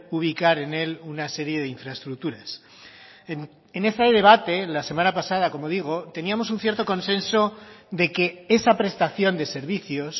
ubicar en él una serie de infraestructuras en ese debate la semana pasada como digo teníamos un cierto consenso de que esa prestación de servicios